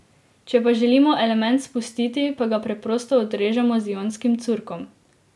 Če pa želimo element spustiti, pa ga preprosto odrežemo z ionskim curkom.